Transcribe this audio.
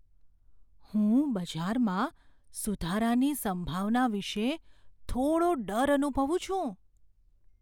હું બજારમાં સુધારાની સંભાવના વિશે થોડો ડર અનુભવું છું.